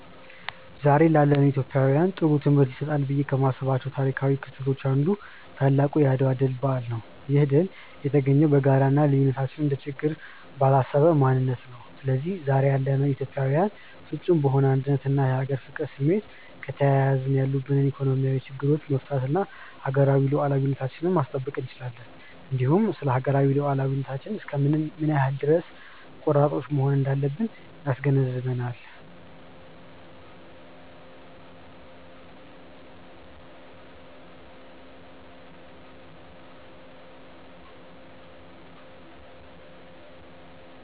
ዛሬ ላለነው ኢትዮጵያውያን ጥሩ ትምህርት ይሰጣሉ ብዬ ከማስባቸው ታሪካው ክስተቶች አንዱ ታላቁ የአድዋ ድል በዓል ነው። ይህ ድል የተገኘው በጋራ እና ልዩነትን እንደ ችግር ባላሰበ ማንነት ነበር። ስለዚህ ዛሬ ያለነው ኢትዮጵያዊያንም ፍፁም በሆነ አንድነት እና የሀገር ፍቅር ስሜት ከተያያዝን ያሉብንን ኢኮኖሚያዊ ችግሮቻች መፍታት እና ሀገራዊ ሉዓላዊነታችንን ማስጠበቅ እንችላለን። እንዲሁም ስለሀገራዊ ሉዓላዊነታችን እስከ ምን ያክል ድረስ ቆራጦች መሆን እንዳለብን ያስገነዝበናል።